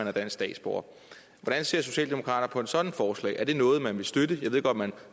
er dansk statsborger hvordan ser socialdemokraterne sådant forslag er det noget man vil støtte jeg ved godt man